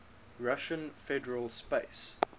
russian federal space